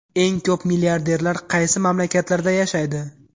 Eng ko‘p milliarderlar qaysi mamlakatlarda yashaydi?.